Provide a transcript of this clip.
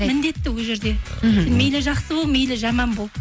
міндетті ол жерде мхм мейлі жақсы бол мейлі жаман бол